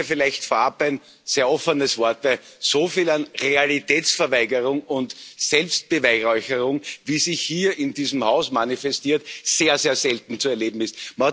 Erlauben Sie mir vielleicht vorab ein sehr offenes Wort, dass so viel an Realitätsverweigerung und Selbstbeweihräucherung, wie sich hier in diesem Haus manifestiert, sehr, sehr selten zu erleben ist.